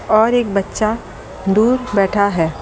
और एक बच्चा दूर बैठा है।